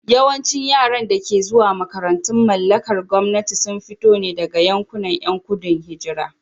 Yawancin yaran da ke zuwa makarantun mallakar gwamnati sun fito ne daga yankunan ƴan gudun hijira.